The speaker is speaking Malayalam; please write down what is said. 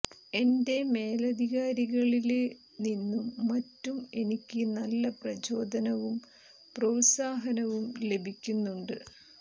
എന്റെ മേലധികാരികളില് നിന്നും മറ്റും എനിക്ക് നല്ല പ്രചോദനവും പ്രോത്സാഹനവും ലഭിക്കുന്നുണ്ട്